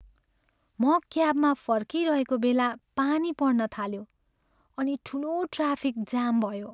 म क्याबमा फर्किरहेको बेला पानी पर्न थाल्यो अनि ठुलो ट्राफिक जाम भयो।